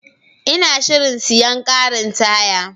Ina shirin siyan karin taya.